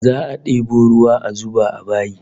Za'a debo ruwa a zuba a bayi